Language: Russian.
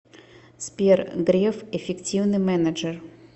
сбер греф эффективный менеджер